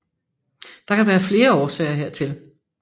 Der kan være flere årsager hertil